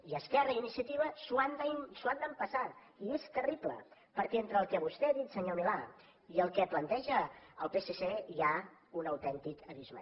i esquerra i iniciativa s’ho han d’empassar i és terrible perquè entre el que vostè ha dit senyor milà i el que planteja el psc hi ha un autèntic abisme